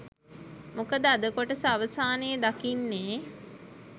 මොකද අද කොටස අවසානයේ දකින්නේ